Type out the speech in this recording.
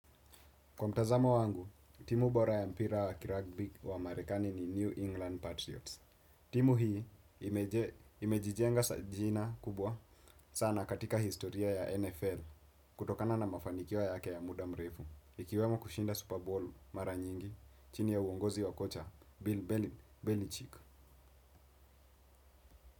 Kwa mtazamo wangu, timu bora ya mpira wa kirugbi wa marekani ni New England Patriots. Timu hii imejijenga jina kubwa sana katika historia ya NFL, kutokana na mafanikio yake ya muda mrefu. Ikiwemo kushinda Super Bowl mara nyingi, chini ya uongozi wa kocha, Bill Belichick.